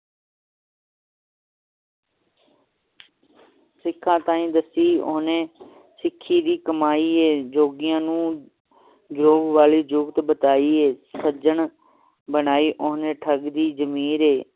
ਸਿਖਾਂ ਤਾਈ ਦੱਸੀ ਓਹਨੇ ਸਿਖਾਂ ਦੀ ਕਮਾਈ ਹੈ ਜੋਗੀਆਂ ਨੂੰ ਜੋਗ ਆਲੀ ਜੁਗਤ ਬਤਾਇ ਏ ਸੱਜਣ ਬਣਾਈ ਓਹਨੇ ਠੱਗ ਦੀ ਜਮੀਰ ਹੈ